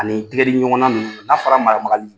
Ani tigɛ di ɲɔgɔnma ninnu n'a fɔra maramagali